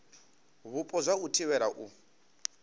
vhupo zwa u thivhela u